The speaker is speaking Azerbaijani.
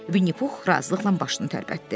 Vinnipux razılıqla başını tərpətdi.